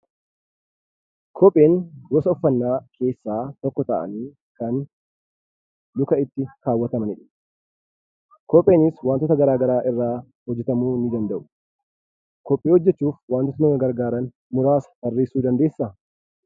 Kopheewwan gosa uffannaa keessaa tokko ta'anii kan lukatti kaawwatamanidha. Kopheenis wantoota garaa garaa irraa hojjetamuu danda'u. Kophee hojjechuuf wantoota nama gargaaran muraasa tarreessuu dandeessaa?